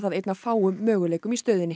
einn af fáum möguleikum í stöðunni